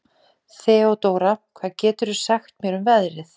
Þeódóra, hvað geturðu sagt mér um veðrið?